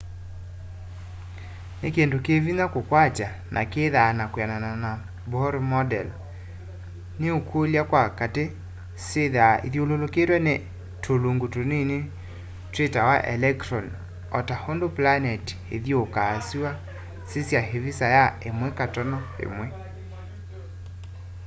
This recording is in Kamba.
nĩkĩndũ kĩ vĩnya kũkwatya na kĩthaa na kwĩanana na bohr model nĩũkĩlĩa sya katĩ syĩthaa ĩthyũlũlũkĩtwe nĩ tũlũngũ tũnĩnĩ twitawa elekĩtronĩ ota ũndũ planetĩ ĩthĩũkaa sũa sĩsya ĩvĩsa ya 1.1